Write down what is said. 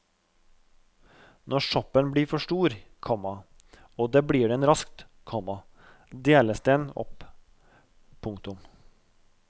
Når soppen blir for stor, komma og det blir den raskt, komma deles den opp. punktum